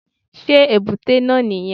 Sé èbúté náà nì yẹn